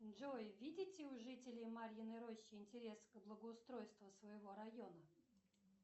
джой видите у жителей марьиной рощи интерес к благоустройству своего района